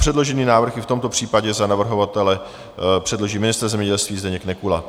Předložený návrh i v tomto případě za navrhovatele předloží ministr zemědělství Zdeněk Nekula.